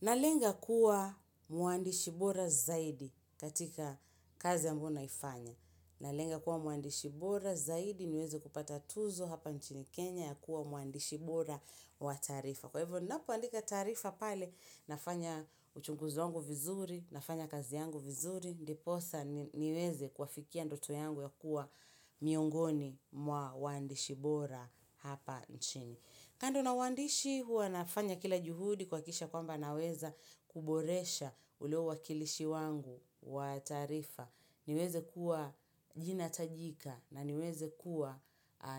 Na lenga kuwa muandishi bora zaidi katika kazi ambayo naifanya. Na lenga kuwa muandishi bora zaidi niweze kupata tuzo hapa nchini Kenya ya kuwa muandishi bora wa taarifa. Kwa hivo ninapoandika tarifa pale nafanya uchunguzi wangu vizuri, nafanya kazi yangu vizuri. Ndiposa niweze kuafikia ndoto yangu ya kuwa miongoni mwa wandishi bora hapa nchini. Kando na uandishi hua nafanya kila juhudi kuhakikisha kwamba naweza kuboresha ule uwakilishi wangu wa taqrifa. Niweze kuwa jina tajika na niweze kuwa